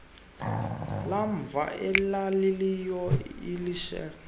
lamva elalililo elixhase